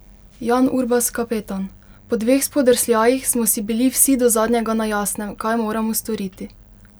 Jan Urbas, kapetan: "Po dveh spodrsljajih smo si bili vsi do zadnjega na jasnem, kaj moramo storiti.